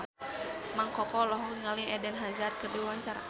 Mang Koko olohok ningali Eden Hazard keur diwawancara